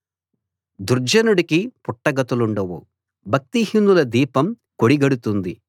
దుర్జనుడికి పుట్టగతులుండవు భక్తిహీనుల దీపం కొడిగడుతుంది